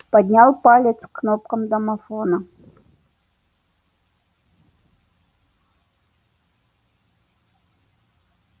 поднял палец к кнопкам домофона